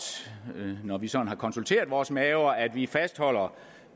når vi sådan har konsulteret vores maver at vi fastholder